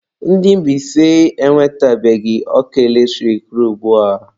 Ndị Mbaise enwetebeghị ọkụ eletrik ruo ugbua.